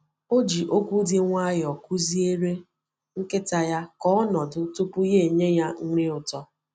O ji okwu dị nwayọọ kụzieere nkịta ya ka ọ nọdụ tupu ya enye ya nri ụtọ.